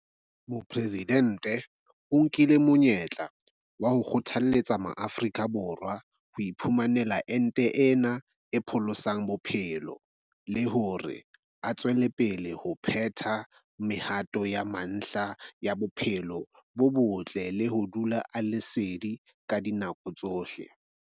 Mopresidente o nkile monyetla wa ho kgothaletsa Maafrika Borwa ho iphumanela ente ena e pholosang bophelo le hore a tswele pele ho phetha mehato ya mantlha ya bophelo bo botle le ho dula a le sedi ka dinako tsohle.